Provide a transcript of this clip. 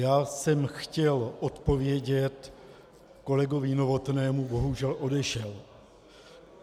Já jsem chtěl odpovědět kolegovi Novotnému, bohužel odešel.